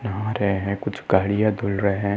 नहा रहे हैं। कुछ गाड़ियाँ धुल रहे हैं।